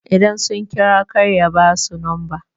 idan sun kira kar ya ba su lamba?